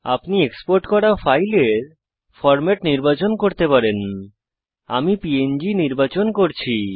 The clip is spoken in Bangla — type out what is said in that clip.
আপনি এক্সপোর্ট করা ফাইলের ফরম্যাট ফরম্যাট নির্বাচন করুন আমি প্যাং নির্বাচন করছি